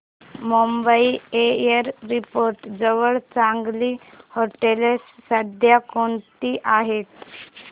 Mumbai airport जवळ चांगली हॉटेलं सध्या कोणती आहेत